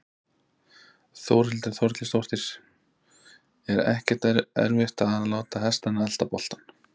Þórhildur Þorkelsdóttir: Er ekkert erfitt að láta hestana elta boltann?